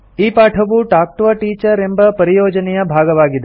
ಈ ಪಾಠವು talk to a teacher ಎಂಬ ಪರಿಯೋಜನೆಯ ಭಾಗವಾಗಿದೆ